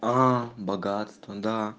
богатство да